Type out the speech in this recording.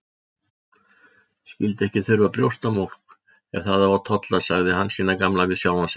Skyldi ekki þurfa brjóstamjólk ef það á að tolla, sagði Hansína gamla við sjálfa sig.